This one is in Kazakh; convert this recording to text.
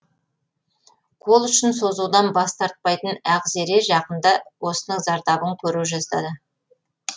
қол ұшын созудан бас тартпайтын ақзере жақында осының зардабын көре жаздады